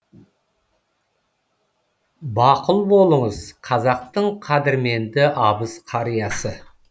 бақұл болыңыз қазақтың қадірменді абыз қариясы